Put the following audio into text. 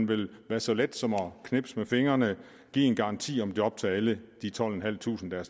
vel være så let som at knipse med fingrene at give en garanti om job til alle de tolvtusinde